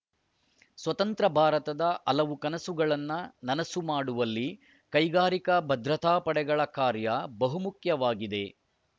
ಸ್ವತಂತ್ರ ಭಾರತದ ಹಲವು ಕನಸುಗಳನ್ನು ನನಸು ಮಾಡುವಲ್ಲಿ ಕೈಗಾರಿಕಾ ಭದ್ರತಾ ಪಡೆಗಳ ಕಾರ್ಯ ಬಹುಮುಖ್ಯವಾಗಿದೆ